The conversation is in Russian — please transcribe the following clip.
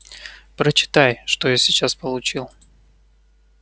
прочитай что сейчас я получил